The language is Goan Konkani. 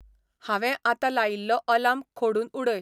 हांवें आत्तां लायिल्लो आलार्म खोडून उडय